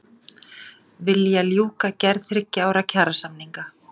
Vilja ljúka gerð þriggja ára kjarasamninga